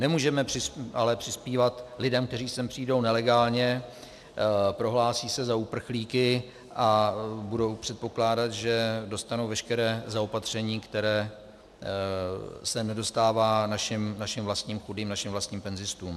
Nemůžeme ale přispívat lidem, kteří sem přijdou nelegálně, prohlásí se za uprchlíky a budou předpokládat, že dostanou veškeré zaopatření, kterého se nedostává našim vlastním chudým, našim vlastním penzistům.